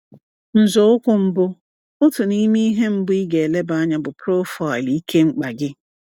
Nzọụkwụ Mbụ — Otu n’ime ihe mbụ ị ga-eleba anya bụ profaịlụ ike mkpa gị.